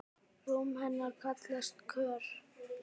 Rúm hennar kallast Kör.